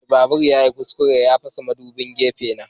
Mai babur yayi kuskure ya fasa madubin gefe na.